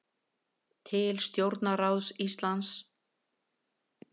Til stjórnarráðs Íslands